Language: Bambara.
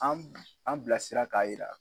An an bilasira k'a yira.